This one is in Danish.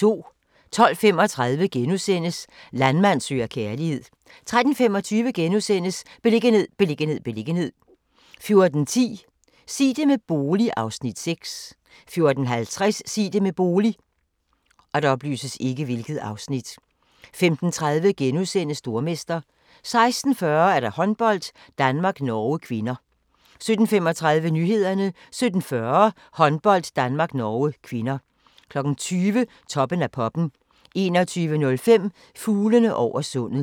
12:35: Landmand søger kærlighed * 13:25: Beliggenhed, beliggenhed, beliggenhed * 14:10: Sig det med bolig (Afs. 6) 14:50: Sig det med bolig 15:30: Stormester * 16:40: Håndbold: Danmark-Norge (k) 17:35: Nyhederne 17:40: Håndbold: Danmark-Norge (k) 20:00: Toppen af poppen 21:05: Fuglene over sundet